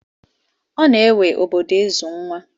Ọ na-ewe obodo ịzụ nwa.